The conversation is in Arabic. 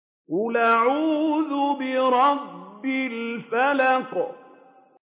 قُلْ أَعُوذُ بِرَبِّ الْفَلَقِ